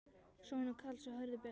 Sonur Karls er Hörður Björn.